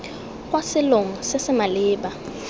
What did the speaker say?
kwa selong se se maleba